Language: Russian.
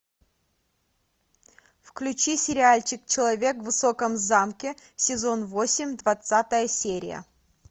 включи сериальчик человек в высоком замке сезон восемь двадцатая серия